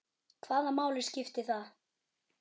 Hvaða máli skipti það?